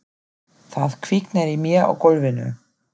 Það kviknar í mér á gólfinu.